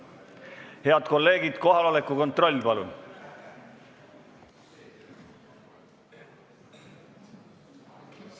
Head kolleegid, palun teeme nüüd kohaloleku kontrolli!